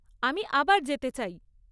আমি আবার যেতে চাই।